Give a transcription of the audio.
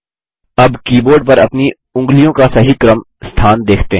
अब कीबोर्ड पर अपनी उँगलियों का सही क्रम स्थान देखते हैं